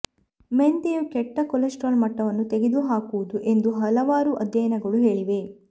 ಮೆಂತೆಯು ಕೆಟ್ಟ ಕೊಲೆಸ್ಟ್ರಾಲ್ ಮಟ್ಟವನ್ನು ತೆಗೆದುಹಾಕುವುದು ಎಂದು ಹಲವಾರು ಅಧ್ಯಯನಗಳು ಹೇಳಿವೆ